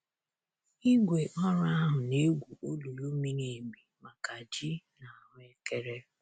Igwe ọrụ ahụ na-egwu olulu miri emi maka ji na ahuekere.